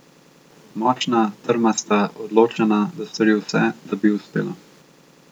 Močna, trmasta, odločena, da stori vse, da bi ji uspelo.